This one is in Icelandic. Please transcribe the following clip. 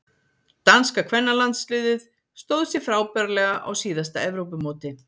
Danska kvennalandsliðið stóð sig frábærlega á síðasta Evrópumóti.